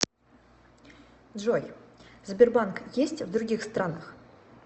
джой сбербанк есть в других странах